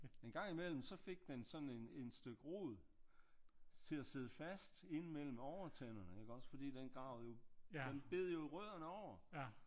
En gang i mellem så fik den sådan en styk rod til at sidde fast inde mellem overtænderne iggås fordi den gravede jo den bed jo rødderne over